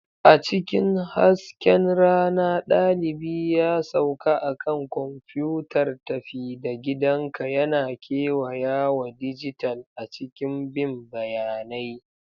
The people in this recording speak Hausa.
A cikin hasken rana, dalibi ya sauka a kan kwamfutar tafi-da-gidanka yana kewayawa dijital a cikin bin bayanai.